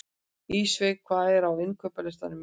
Ísveig, hvað er á innkaupalistanum mínum?